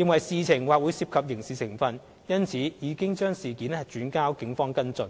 認為事情或會涉及刑事成分，因此已將事件轉交警方跟進。